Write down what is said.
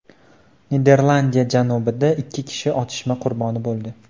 Niderlandiya janubida ikki kishi otishma qurboni bo‘ldi.